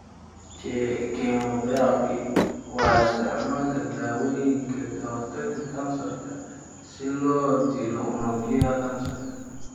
Chemotherapy waa isticmaalka dawooyinka ka hortagga kansarka si loo dilo unugyada kansarka.